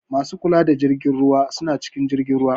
Masu kula da jirgin ruwa suna cikin jirgin ruwa.